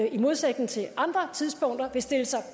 i modsætning til andre tidspunkter stille sig